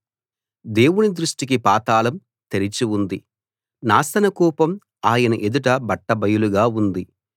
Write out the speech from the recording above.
దేవుని దృష్టికి పాతాళం తెరిచి ఉంది నాశనకూపం ఆయన ఎదుట బట్టబయలుగా ఉంది